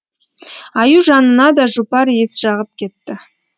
аю жанына да жұпар иіс жағып кетті